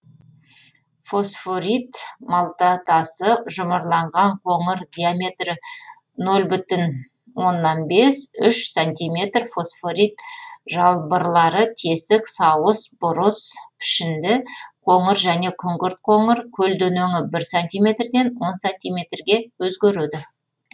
фосфорит малтатасы жұмырланған қоңыр диаметрі нөл бүтін оннан бес үш сантиметр фосфорит жалбырлары тесік сауыс бұрыс пішінді қоңыр және күңгірт қоңыр көлденеңі бір сантиметрден он сантиметрге өзгереді